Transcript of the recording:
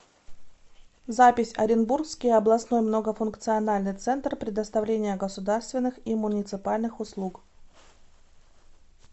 запись оренбургский областной многофункциональный центр предоставления государственных и муниципальных услуг